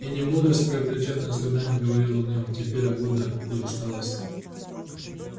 и не мудрость приобретённая с годами говорила в нем теперь а годы и усталость